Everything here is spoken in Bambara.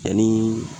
Ani